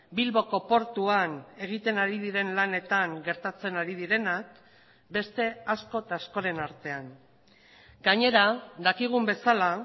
bilboko portuan egiten ari diren lanetan gertatzen ari direnak beste asko eta askoren artean gainera dakigun bezala